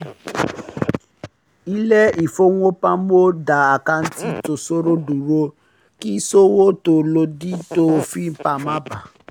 ilé-ìfowópamọ́ dá àkáǹtì tó ṣòro dúró kí ìṣòwò tó lòdì tó òfin má bà a